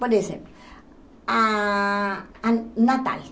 Por exemplo, ah a Natal.